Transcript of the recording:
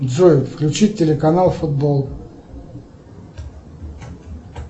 джой включи телеканал футбол